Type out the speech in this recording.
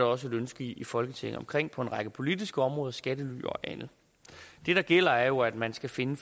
også et ønske i folketinget omkring på en række politiske områder skattely og andet det der gælder er jo at man skal finde